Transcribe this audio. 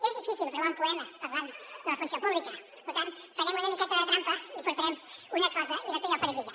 és difícil trobar un poema parlant de la funció pública per tant farem una miqueta de trampa i portarem una cosa i després ja ho faré lligar